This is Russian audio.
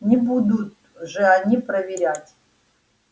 не будут же они проверять